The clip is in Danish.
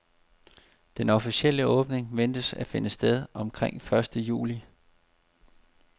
Den officielle åbning ventes at finde sted omkring første juli.